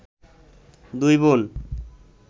দুই বোন